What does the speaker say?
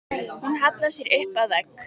Hún hallar sér upp að vegg.